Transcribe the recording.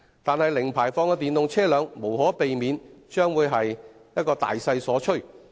不過，零排放的電動車輛將無可避免地成為大勢所趨。